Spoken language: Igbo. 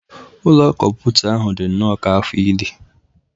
Ụlọ kọmputa ahụ dị nnọọ ka afọ ili.